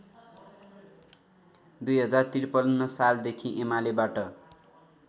२०५३ सालदेखि एमालेबाट